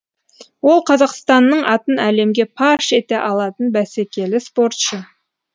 ол қазақстанның атын әлемге паш ете алатын бәсекелі спортшы